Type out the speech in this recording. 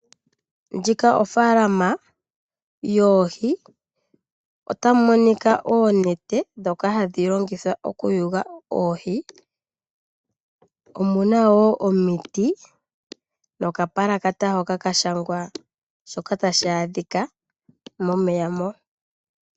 Ndjika ofaalama yoohi . Ota mu monika oonete dhoka hadhi longithwa oku yuga oohi. Omuna woo omiti noka palakata hoka ka shangwa shoka tashi adhika momeya mo .